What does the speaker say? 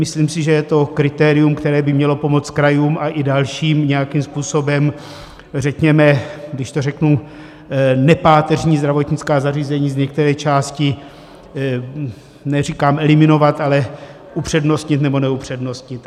- Myslím si, že je to kritérium, které by mělo pomoct krajům a i dalším nějakým způsobem řekněme, když to řeknu, nepáteřní zdravotnická zařízení z některé části neříkám eliminovat, ale upřednostnit, nebo neupřednostnit.